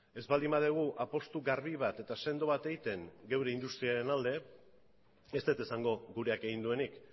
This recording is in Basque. ez baldin badugu apustu garbi bat eta sendo bat egiten gure industriaren alde ez dut esango gureak egin duenik